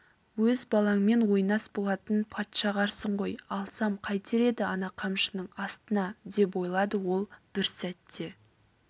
өз балаңмен ойнас болатын патшағарсың ғой алсам қайтер еді ана қамшының астына деп ойлады ол бір сәтте